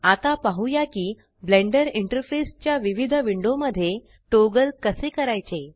आता पाहुया की ब्लेंडर इंटरफेस च्या विविध विंडो मध्ये टॉगल कसे करायचे